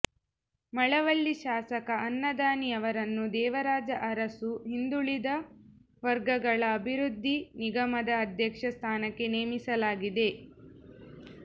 ಮಳವಳ್ಳಿ ಶಾಸಕ ಅನ್ನದಾನಿ ಅವರನ್ನು ದೇವರಾಜ ಅರಸು ಹಿಂದುಳಿದ ವರ್ಗಗಳ ಅಭಿವೃದ್ಧಿ ನಿಗಮದ ಅಧ್ಯಕ್ಷ ಸ್ಥಾನಕ್ಕೆ ನೇಮಿಸಲಾಗಿದೆ